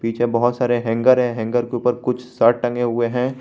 पीछे बहुत सारे हैंगर है हैंगर के ऊपर कुछ शर्ट टंगे हुए हैं।